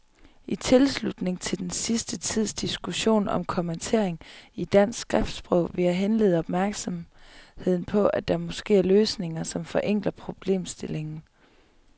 I tilslutning til den senere tids diskussion om kommatering i dansk skriftsprog vil jeg henlede opmærksomheden på, at der måske er løsninger, som forenkler problemstillingen.